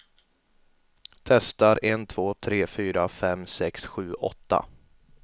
Testar en två tre fyra fem sex sju åtta.